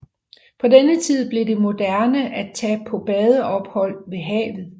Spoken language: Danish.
På denne tid blev det moderne at tage på badeophold ved havet